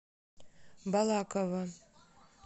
балаково